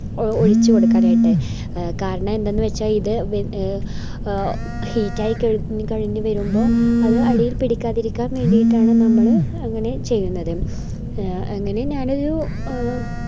ഓ ഒഴിച്ചുകൊടുക്കാനായിട്ട് കാരണം എന്തെന്നുവെച്ചാൽ ഇത് വ് heat ആയി കഴിഞ്ഞു വരുമ്പോ അത് അടിയിൽ പിടിക്കാതിരിക്കാൻ വേണ്ടീട്ടാണ് നമ്മള് അങ്ങനെ ചെയ്യുന്നത് അങ്ങനെ ഞാനൊരു എ